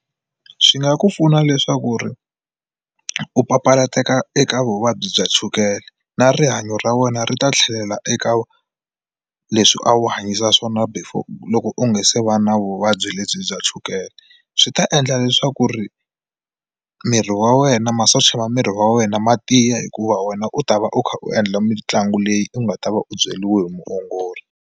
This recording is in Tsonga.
Swi nga ku pfuna leswaku ri u papalateka eka vuvabyi bya chukele na rihanyo ra wena ri ta tlhelela eka leswi a wu hanyisa swona before loko u nga se va na vuvabyi lebyi bya chukele swi ta endla leswaku ri miri wa wena masocha ma miri wa wena ma tiya hikuva wena u ta va u kha u endla mitlangu leyi u nga ta va u byeriwile hi muongori.